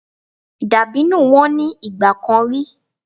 Dàbínù wọ́n ní ìgbà kan rí.